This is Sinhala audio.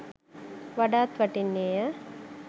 වඩාත් වටින්නේය.